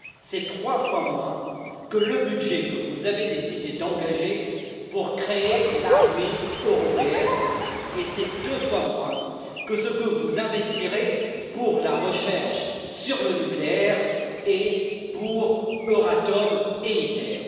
C'est trois fois moins que le budget que vous avez décidé d'engager pour créer l'armée européenne et c'est deux fois moins que ce que vous investirez pour la recherche sur le nucléaire, pour Euratom et ITER.